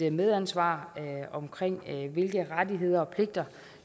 et medansvar omkring de rettigheder og pligter